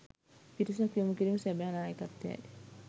පිරිසක් යොමු කිරීම සැබෑ නායකත්වයයි